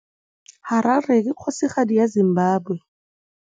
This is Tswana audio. Harare ke kgosigadi ya Zimbabwe.